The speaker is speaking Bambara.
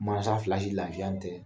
Mansa fila si lafiya n tɛ